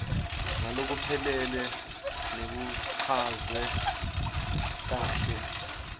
ngalokuphelele nekuchazwa kahle